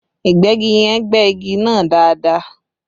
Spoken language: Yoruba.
Ìgbẹ́gi yẹn gbẹ́ igi náà dáadáa